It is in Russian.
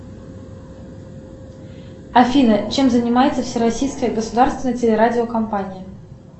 афина чем занимается всероссийская государственная телерадиокомпания